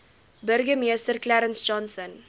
burgemeester clarence johnson